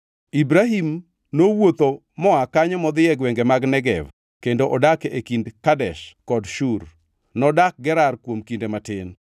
Ibrahim nowuotho moa kanyo modhi e gwenge mag Negev kendo odak e kind Kadesh kod Shur. Nodak Gerar kuom kinde matin,